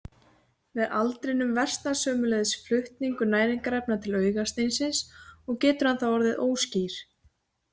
Með aldrinum versnar sömuleiðis flutningur næringarefna til augasteinsins og getur hann þá orðið óskýr.